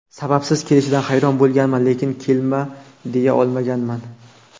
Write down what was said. Sababsiz kelishidan hayron bo‘lganman, lekin kelma, deya olmaganman.